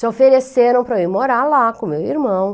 Se ofereceram para eu ir morar lá com meu irmão.